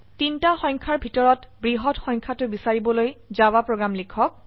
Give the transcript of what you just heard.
তিনটা সংখ্যাৰ ভিতৰত বৃহত্ত সংখ্যা টো বিচাৰিবলৈ জাভা প্ৰোগ্ৰাম লিখক